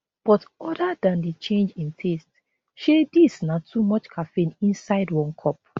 but other dan di change in taste shey dis na too much caffeine inside one cup